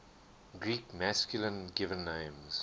greek masculine given names